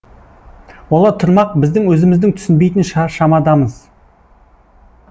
олар тұрмақ біздің өзіміздің түсінбейтін шамадамыз